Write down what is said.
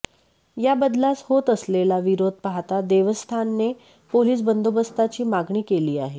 या बदलास होत असलेला विरोध पाहता देवस्थानने पोलीस बंदोबस्ताची मागणी केली आहे